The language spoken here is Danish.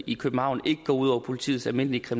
i københavn ikke går ud over politiets almindelige